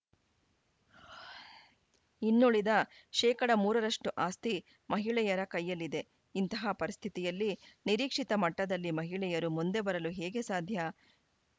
ಇನ್ನುಳಿದ ಶೇಕಡಾ ಮೂರ ರಷ್ಟುಆಸ್ತಿ ಮಹಿಳೆಯರ ಕೈಯಲ್ಲಿದೆ ಇಂತಹ ಪರಿಸ್ಥಿತಿಯಲ್ಲಿ ನಿರೀಕ್ಷಿತ ಮಟ್ಟದಲ್ಲಿ ಮಹಿಳೆಯರು ಮುಂದೆ ಬರಲು ಹೇಗೆ ಸಾಧ್ಯ